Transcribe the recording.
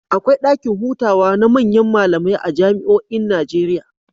Akwai ɗakin hutawa na manyan malamai a jami'oin Najeriya.